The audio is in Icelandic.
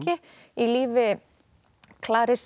í lífi